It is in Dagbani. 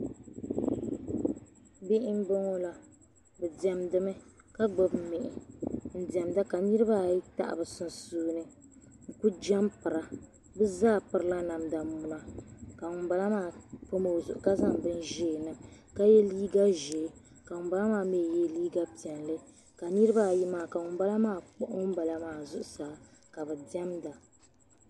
Bihi m bo ŋɔ la bɛ diɛmdi mi ka gbubi mihi n diɛmda ka niribaayi tahi bɛ sunsuuni n ku jaampira bɛ zaa pirila namda muna ka ŋun bala maa pami o zuɣu ka zaŋ bin ʒee niŋ ka ŋun bala maa ye liiga ʒee ka ŋun bala maa mi ye liiga piɛlli ka niribaayi maa ka ŋun bala maa kpuhi ŋun bala maa zuɣu saa ka bi diɛmda.